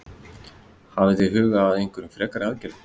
Hafið þið hugað að einhverjum frekari aðgerðum?